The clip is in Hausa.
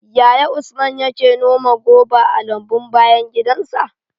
Yaya Usman yake noma goba a lambun bayan gidansa?